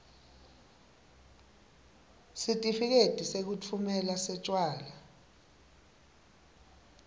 sitifiketi sekutfumela setjwala